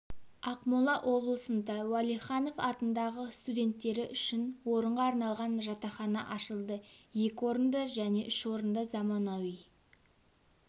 ақмола облысында уәлиханов атындағы студенттері үшін орынға арналған жатақхана ашылды екі орынды және үш орынды заманауи